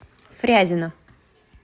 фрязино